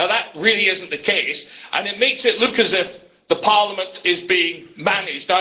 That really is not the case, and it makes it look as if Parliament is being managed.